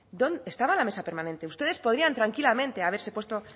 estaba la mesa permanente ustedes podrían tranquilamente haberse puesto